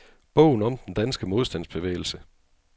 Bogen om den danske modstandsbevægelse.